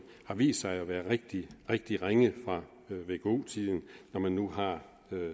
har vist sig at være rigtig rigtig ringe når man nu har